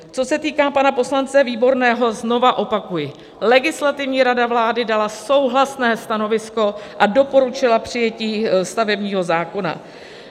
Co se týká pana poslance Výborného, znova opakuji: Legislativní rada vlády dala souhlasné stanovisko a doporučila přijetí stavebního zákona.